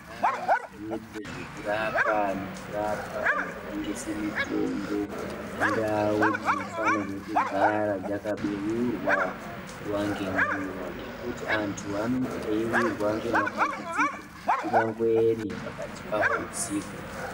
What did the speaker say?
Ndau dzinoitwe zvekurapa nekurapwa vanotengese mitombo indau dzinofanirwe kugara dzakabeurwa nguva nenguva. Ngekuti antu anenge eivirwa ngemadambudziko kunyangweni pakati paho husiku.